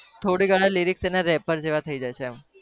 થોડી ગણા lyrics એના rapper જેવા થઇ જાય છે એમ